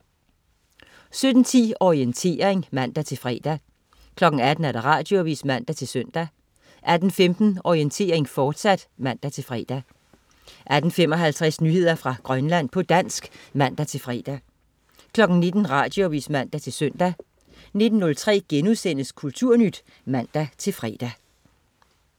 17.10 Orientering (man-fre) 18.00 Radioavis (man-søn) 18.15 Orientering, fortsat (man-fre) 18.55 Nyheder fra Grønland, på dansk (man-fre) 19.00 Radioavis (man-søn) 19.03 Kulturnyt* (man-fre)